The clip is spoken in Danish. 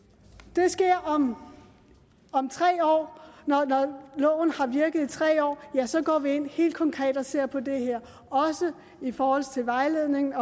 det sker om om tre år når loven har virket i tre år ja så går vi ind helt konkret og ser på det her også i forhold til vejledningen